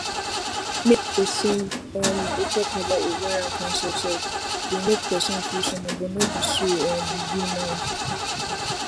make persin um dey talk about ovarian cancer sef dey make persin feel somehow but no be so um e be now